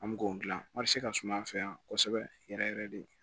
An mi k'o gilan ka suma an fɛ yan kosɛbɛ yɛrɛ yɛrɛ de